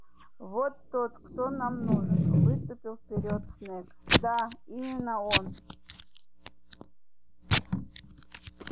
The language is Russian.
вот тот кто нам нужен выступил вперёд снегг да именно он